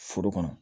Foro kɔnɔ